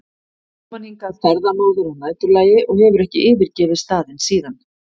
kom hann hingað ferðamóður að næturlagi og hefur ekki yfirgefið staðinn síðan.